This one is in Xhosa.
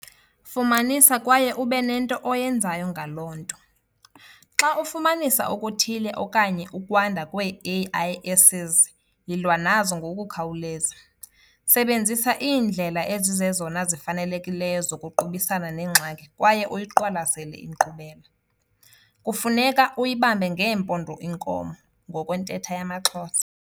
Fumanisa kwaye ube nento oyenzayo ngaloo nto. Xa ufumanisa okuthile okanye ukwanda kwee-AIS's, yilwa nazo ngokukhawuleza. Sebenzisa iindlela ezizezona zifanelekileyo zokuqubisana nengxaki kwaye uyiqwalasele inkqubela. Kufuneka "uyibambe ngeempondo inkomo" ngokwentetha yamaXhosa.